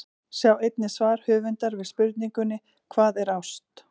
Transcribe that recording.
Sjá einnig svar höfundar við spurningunni Hvað er ást?